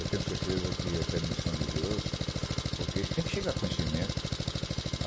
Eu tenho certeza que é permissão de Deus, porque isso tem que chegar a conhecimento.